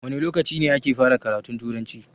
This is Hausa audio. Wane lokaci ne ake fara karatun Turanci?